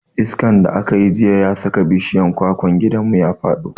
Iskan da aka yi jiya ya saka bishiyar kwakwan gidanmu ya faɗo.